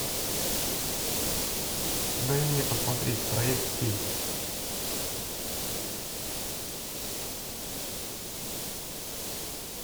дай мне посмотреть проект кей